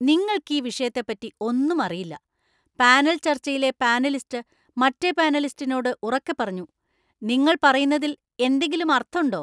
നിങ്ങൾക്കീ വിഷയത്തെപ്പറ്റി ഒന്നും അറിയില്ല, പാനൽ ചർച്ചയിലെ പാനലിസ്റ്റ് മറ്റെ പാനലിസ്റ്റിനോട് ഉറക്കെ പറഞ്ഞു. "നിങ്ങൾ പറയുന്നതില്‍ എന്തെങ്കിലും അർത്ഥണ്ടോ"